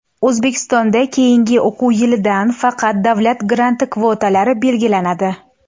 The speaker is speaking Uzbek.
O‘zbekistonda keyingi o‘quv yilidan faqat davlat granti kvotalari belgilanadi.